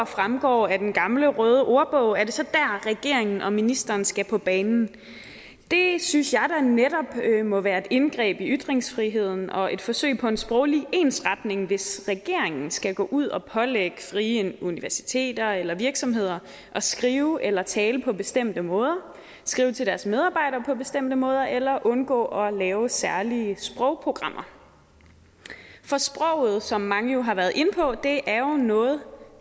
fremgår af den gamle røde ordbog er det så dér regeringen og ministeren skal på banen det synes jeg da netop må være et indgreb i ytringsfriheden og et forsøg på en sproglig ensretning hvis regeringen skal gå ud og pålægge frie universiteter eller virksomheder at skrive eller tale på bestemte måder skrive til deres medarbejdere på bestemte måder eller undgå at lave særlige sprogprogrammer sproget som mange har været inde på er jo noget